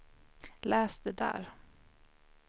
läs det där